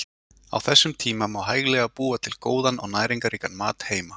Á þessum tíma má hæglega búa til góðan og næringarríkan mat heima.